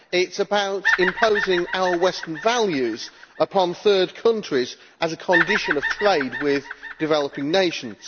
It is about imposing our Western values upon third countries as a condition of trade with developing nations.